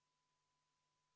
Aitäh, härra juhataja!